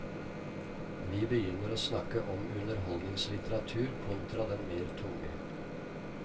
Vi begynner å snakke om underholdningslitteratur kontra den mer tunge.